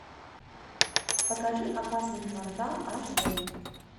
покажи опасный квартал аш дэ